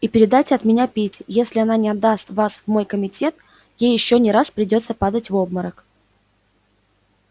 и передайте от меня питти если она не отдаст вас в мой комитет ей ещё не раз придётся падать в обморок